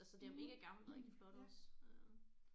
Altså det er mega gammelt rigtig flot også øh